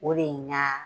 O de ye nka